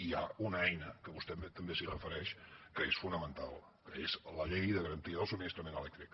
i hi ha una eina que vostè també s’hi refereix que és fonamental que és la llei de garantia del subministrament elèctric